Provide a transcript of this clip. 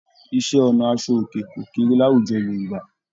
Iṣẹ́-ọnà aṣọòkè kò kéré láwùjọ Yorùbá.